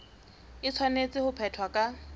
e tshwanetse ho phethwa ka